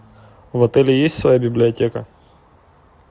в отеле есть своя библиотека